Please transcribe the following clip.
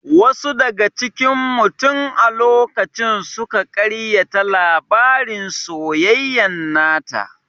Wasu daga cikin mu tin a lokacin suka ƙaryata labarin soyayyan nata